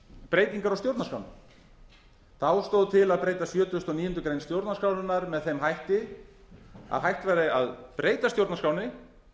breytingar á stjórnarskránni þá stóð til að breyta sjötugasta og níundu grein stjórnarskrárinnar með þeim hætti að hægt væri að breyta stjórnarskránni